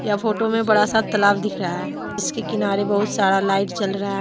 photo में बड़ा सा तालाब दिख रहा है जिसके किनारे बहुत सारा लाइट जल रहा--